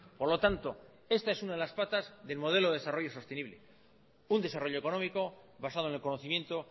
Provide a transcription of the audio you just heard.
por lo tanto esta es una de las patas del modelo desarrollo sostenible un desarrollo económico basado en el conocimiento